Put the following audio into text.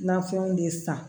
Nafɛnw de san